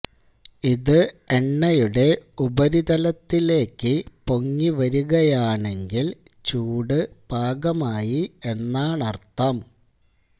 ഇത് എണ്ണയുടെ ഉപരിതലത്തിലേക്ക് പൊങ്ങി വരികയാണെങ്കില് ചൂട് പാകമായി എന്നാണര്ത്ഥം